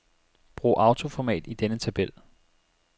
Brug autoformat i denne tabel.